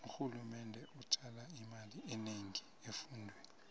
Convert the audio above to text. urhulumende ujala imali enengi efundweni